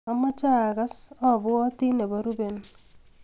Amache agaas abwatin nebo ruben